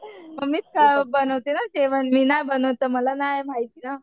मम्मीच बनवते ना जेवण मी नाही बनवत तर मला नाही माहिती ना.